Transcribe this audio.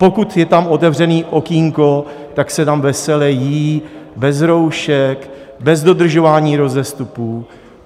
Pokud je tam otevřené okýnko, tak se tam vesele jí, bez roušek, bez dodržování rozestupů.